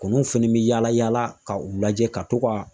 Kunuw fɛnɛ be yala yala ka u lajɛ ka to ka